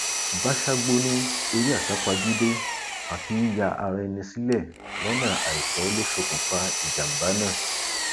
báṣágbó ní eré àsápajúdé àti yíya ara ẹni sílẹ lọnà àìtọ ló ṣokùnfà ìjàmbá náà